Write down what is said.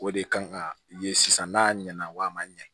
O de kan ka ye sisan n'a ɲɛna wa a ma ɲɛ